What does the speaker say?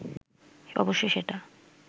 অবশ্য সেটা